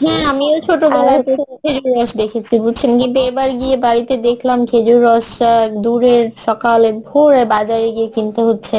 হ্যাঁ আমিও ছোটবেলায় খেজুর রস দেখেছি বুঝছেন কিন্তু এবার গিয়ে বাড়ীতে দেখলাম খেজুর রস দুরে সকালে ভরে বাজারে গিয়ে কিনতে হচ্ছে